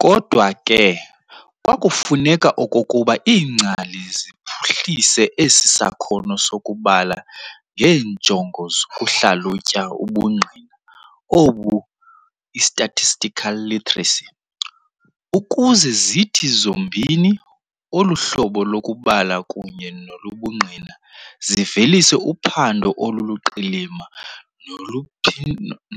Kodwa ke kwakufuneka okokuba iingcali ziphuhlise esi sakhono sokubala ngeenjongo zokuhlalutya ubungqina obu i-statistical literacy, ukuze zithi zombini, olu hlobo lokubala kunye nolobungqina zivelise uphando oluluqilima